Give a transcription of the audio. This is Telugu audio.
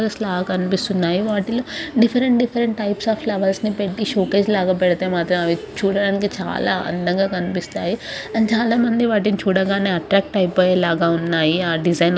జస్ట్ అలా కనిపిస్తున్నాయ్ వాటిలో different different types of flowers ని పెట్టి షో కేస్ లాగా పెడ్తే మాత్రం అవి చూడటానికి చాలా అందంగా కనిపిస్తాయి అండ్ చాలామంది వాటిని చూడగానే అట్రాక్ట్ అయిపోయేలాగా ఉన్నాయి ఆ డిజైన్.